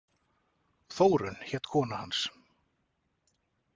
Þórunn hét kona hans.